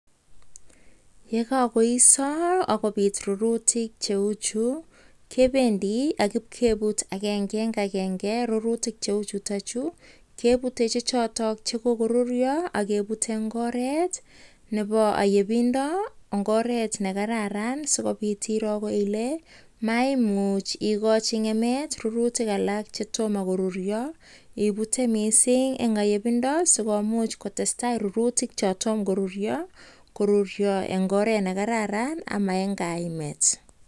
Yekakoisaaa kebendiii akebut agenge agenge kebuteee Eng oret Nepo ayepindooo agenge agenge kiputeee sikomuuch koruryo Eng oret nekararan nimakiimi